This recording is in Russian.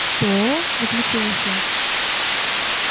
что возмутилась я